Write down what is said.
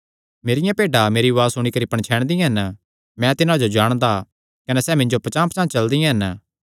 मेरियां भेड्डां मेरी उआज़ सुणी करी पणछैणदियां हन मैं तिन्हां जो जाणदा कने सैह़ मिन्जो पचांह़पचांह़ चलदियां हन